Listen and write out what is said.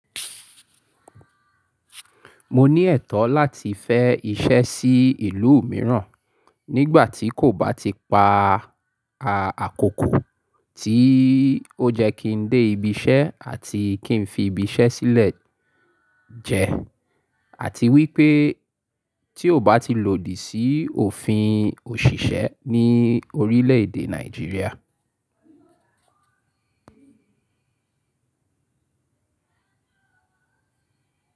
Mo ní ẹ̀tọ́ láti fẹ iṣẹ́ sí ìlú mìíràn nígbà tí kò bá ti pa àkókò tí ó jẹ́ kí n dé ibi iṣẹ́ àti kí n fi ibi iṣẹ́ sílẹ̀ jẹ, àti wípé tí ò bá ti lòdì sí òfin òṣìṣẹ́ ní orílẹ̀ èdè Nàìjíríà.